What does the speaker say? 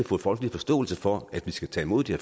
få folkelig forståelse for at vi skal tage imod de